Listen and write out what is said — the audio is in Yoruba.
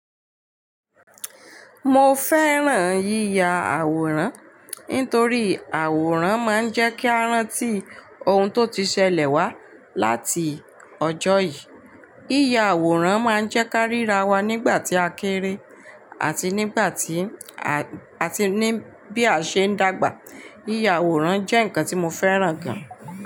Mo fẹ́ràn yíya àwòrán nítorí àwòrán máa ń jẹ́ kí a rántí ohun tó ti ṣẹlẹ̀ wá láti ọjọ́ yìí. Yíya àwòrán máa ń jẹ́ ká ríra wa nígbà tí a kéré àti nígbà tí, àti ní bí a ṣe ń dàgbà. Yíya àwòrán jẹ́ nkan tí mo fẹ́ràn gan.